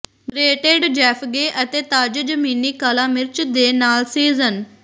grated ਜੈੱਫਗੇ ਅਤੇ ਤਾਜ਼ੇ ਜ਼ਮੀਨੀ ਕਾਲਾ ਮਿਰਚ ਦੇ ਨਾਲ ਸੀਜ਼ਨ